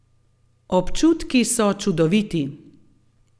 Občutki so čudoviti.